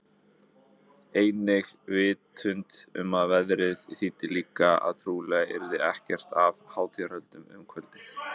Einnig vitundin um að veðrið þýddi líka að trúlega yrði ekkert af hátíðahöldum um kvöldið.